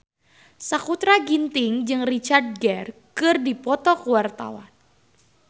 Sakutra Ginting jeung Richard Gere keur dipoto ku wartawan